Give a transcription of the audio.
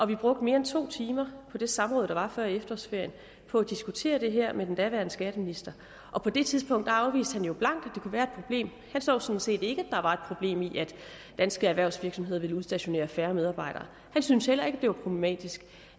vi brugte mere end to timer på det samråd der var før efterårsferien på at diskutere det her med den daværende skatteminister og på det tidspunkt afviste han blankt at det kunne være et problem han så sådan set ikke at danske erhvervsvirksomheder ville udstationere færre medarbejdere han syntes heller ikke at det var problematisk